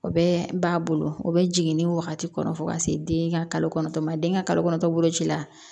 O bɛɛ b'a bolo o bɛ jigin ni wagati kɔnɔ fo ka se den ka kalo kɔnɔntɔn ma den ka kalo kɔnɔntɔn boloci la